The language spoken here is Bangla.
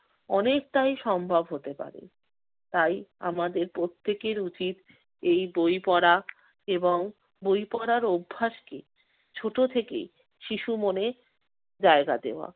অনেকটাই সম্ভব হতে পারে। তাই আমাদের প্রত্যেকের উচিত এই বই পড়া এবং বই পড়ার অভ্যাসকে ছোট থেকেই শিশু মনে জায়গা দেওয়া।